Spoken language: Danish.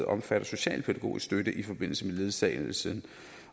omfatter socialpædagogisk støtte i forbindelse med ledsagelse